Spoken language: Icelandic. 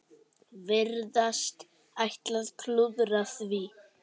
Virðast ætla að klúðra því.